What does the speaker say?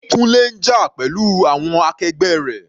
Kunle ń jà pẹ̀lú àwọn akẹgbẹ́ rẹ̀.